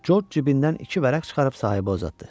Corc cibindən iki vərəq çıxarıb sahibə uzatdı.